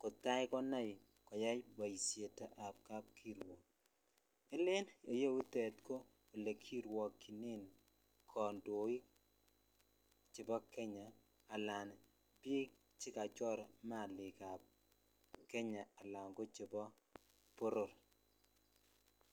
kotakonai koyai boishetab kapkirwok, en iyetute ko olekirwokyinen kondoik chebo Kenya anan biik chekachor maliikab Kenya alan kochebo boror.